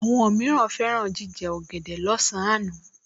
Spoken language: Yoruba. Àwọn mìíràn fẹ́ràn jíjẹ ọ̀gẹ̀dẹ̀ lọ́sàn-án